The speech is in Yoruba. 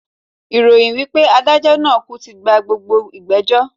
Ìròyìn wipe adájó naa kú tí gba gbogbo ìgbẹ̀jọ́